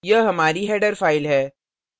यह हमारी header file है